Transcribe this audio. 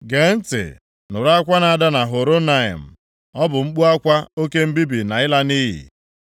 Gee ntị nụrụ akwa na-ada na Horonaim, ọ bụ mkpu akwa oke mbibi na ịla nʼiyi.